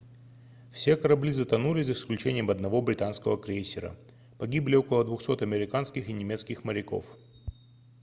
все корабли затонули за исключением одного британского крейсера погибли около 200 американских и немецких моряков